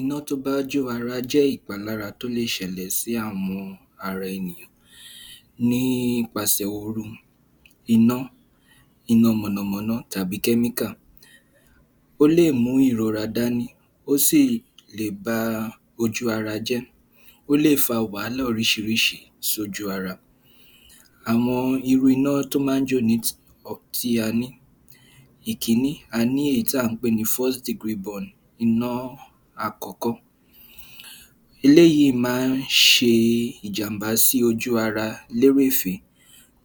Iná tó bá jó ara jẹ́ ìpalára tó lè ṣẹlẹ̀ sí àwọn ara ènìyàn ní ipasẹ̀ oru, iná, iná mọ̀nàmọ́ná, tàbí kẹ́míkà. Ó lè mú ìrora dání, ó sì lè ba ojú- ara jẹ́. Ó lè fa wàhálà oríṣiríṣi sójú ara. Àwọn irú iná tó máa ń jo tí a ní. Ìkíní, a ní èyí tí à ń pè ní iná àkọ́kọ́. Eléyìí máa ń ṣe ìjàmbá sí ojú-ara lérèfé.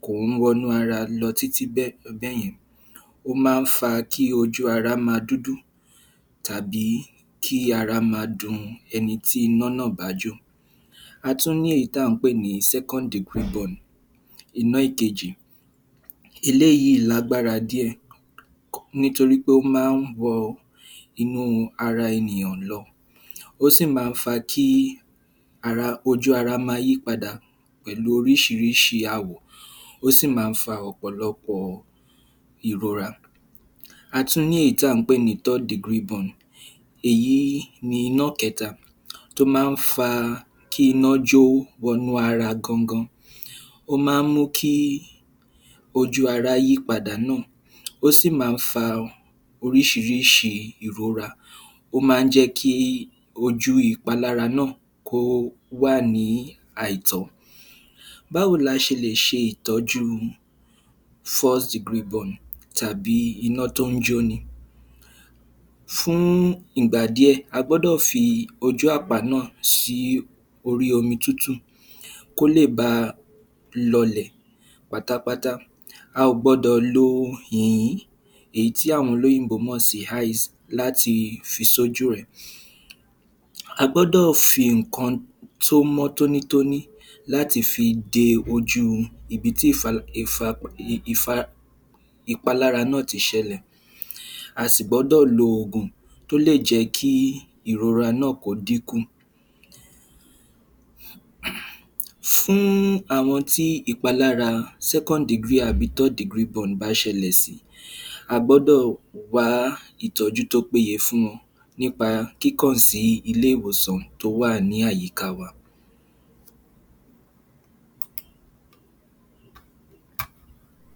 Kò ń wọnú ara lọ títí bẹ́ bẹ́yẹn. Ó máa ń fa kí ojú-ara máa dúdú tàbí kí ara ma dun ẹni tí iná náà bá jó. A tún ní èyí tá ǹ pé ní iná ìkejì. Eléyìí lágbára díẹ̀ nítorí pé ó máa ń wọ inú ara ènìyàn lọ. Ó sì máa ń fa kí ara, ojú-ara máa yípadà pẹ̀lú oríṣiríṣi àwọ̀, ó sì máa ń fa ọ̀pọ̀lọpọ̀ ìrora. A tún ní èyí tà ń pè ní èyí ni iná kẹ́ta tó má ń fa kí iná jó wọnú ara gangan. Ó má ń mú kí ojú-ara yípadà náà. Ó sì máa ń fa oríṣiríṣi ìrora, ó máa ń jẹ́kí ojú ìpalára náà kó wà ní àìtọ́. Báwo la ṣe lè ṣe ìtọ́jú tàbí iná tó ń jóni? Fún ìgbà díẹ̀, a gbọ́dọ̀ fi ojú àpá náà sí orí omi tútù kó lè bá a lọlè pátápátá. A ò gbọ́dọ̀ lo yìyín, èyí tí àwọn olóyìnbó mọ̀ sí láti fi sójú ẹ̀. A gbọ́dọ̀ fi nǹkan tó mọ́ tónítóní láti fi de ojú ibi tí ìpalára náà ti ṣẹlẹ̀. A sì gbọ́dọ̀ lo ògùn tó lè jẹ́kí ìrora náà kó dínkù. Fún àwọn tí ìpalára àbí bá ṣẹlẹ̀ sí, a gbọ́dọ̀ wá ìtọ́jú tó péye fún wọn nípa kíkàn sí ilé-ìwòsàn tó wà ní àyíká wa.